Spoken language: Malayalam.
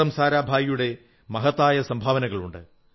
വിക്രം സാരാഭായിയുടെ മഹത്തായ സംഭാവനകളുണ്ട്